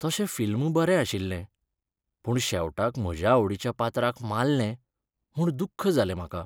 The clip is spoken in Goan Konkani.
तशें फिल्म बरें आशिल्लें, पूण शेवटाक म्हज्या आवडीच्या पात्राक मारलें म्हूण दुख्ख जालें म्हाका.